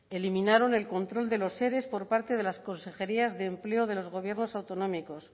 eliminaron el control de los ere por parte de las consejerías de empleo de los gobiernos autonómicos